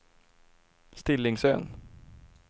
Stillingsön